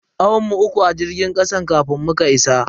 Awan mu uku a cikin jirgin kasan kafin muka isa.